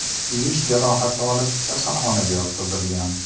kuyish jarohati olib, kasalxonaga yotqizilgan.